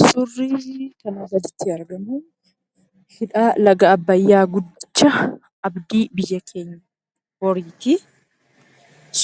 Suurri kanarratti argamu, hidhaa laga Abbayyaa guddicha abdii biyya keenya boriiti.